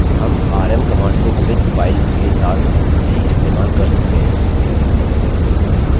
rm rm command को विविध files के साथ भी इस्तेमाल कर सकते हैं